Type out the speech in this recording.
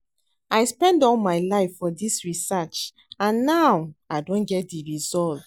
I spend all my life for dis research and now I don get the result